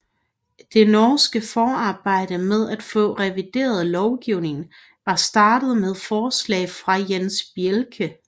Det norske forarbejde med at få revideret lovgivningen var startet med forslag fra Jens Bjelke